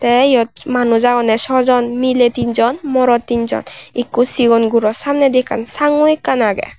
tay yot manuj agon sojon mile teen jon morot teen jon ikko sigon guro samnedi ekkan sangu ekkan agey.